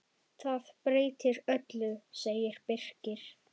Það breytir öllu, segir Birkir.